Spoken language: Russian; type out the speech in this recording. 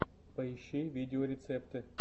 поищи видеорецепты